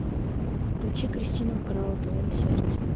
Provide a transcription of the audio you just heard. включи кристина украла твое сердце